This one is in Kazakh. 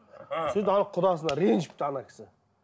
ана құдасына ренжіпті ана кісі